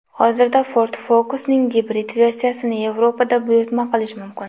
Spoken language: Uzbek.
Hozirda Ford Focus’ning gibrid versiyasini Yevropada buyurtma qilish mumkin.